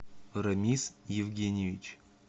рамис евгеньевич